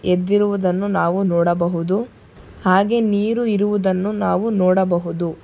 ಎದ್ದಿರುವುದನ್ನು ನಾವು ನೋಡಬಹುದು ಹಾಗೆ ನೀರು ಇರುವುದನ್ನು ನಾವು ನೋಡಬಹುದು.